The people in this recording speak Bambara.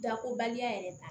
Dakobaliya yɛrɛ